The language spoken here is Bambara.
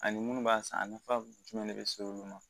Ani munnu b'a san a nafa jumɛn de be se olu ma